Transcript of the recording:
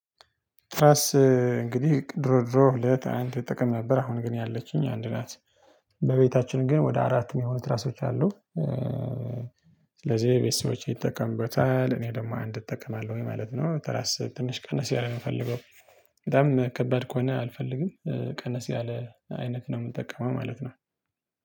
ትራስ እንግዲህ ድሮ ድሮ ለት አንተ ጥቅም ነበር አሁን ግን ያለችኝ አንድ ናት በቤታችን ግን ወደ አራት የሚሆኑት ትራሶች አሉ። ስለዚህ ቤተሰቦቼ ይጠቀሙታል እኔ ደግሞ አንድ እጠቀማለሁኝ ወይ ማለት ነው። ተራስ ትንሽ ቀነስ ያለ ነው የምፈልገው በጣም ከባድ ከሆነ አልፈልግም ቀነስ ያለ አይነት ነው የምንጠቀመው ማለት ነው።